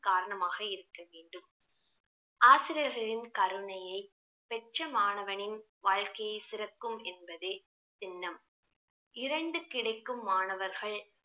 காரணமாக இருக்க வேண்டும் ஆசிரியர்களின் கருணையை பெற்ற மாணவனின் வாழ்க்கையை சிறக்கும் என்பதே தின்னம் இருண்டு கிடைக்கும் மாணவர்கள்